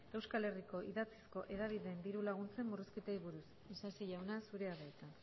euskal herriko idatzizko hedabideen diru laguntzen murrizketei buruz isasi jauna zurea da hitza